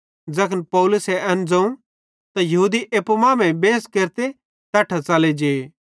ज़ैखन पौलुसे एन ज़ोवं त यहूदी एप्पू मांमेइं बेंस केरते तैट्ठां च़ले जे